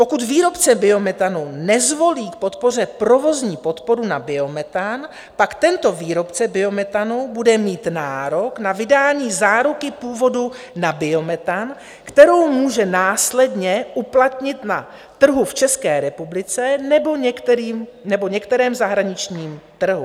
Pokud výrobce biometanu nezvolí k podpoře provozní podporu na biometan, pak tento výrobce biometanu bude mít nárok na vydání záruky původu na biometan, kterou může následně uplatnit na trhu v České republice nebo některém zahraničním trhu.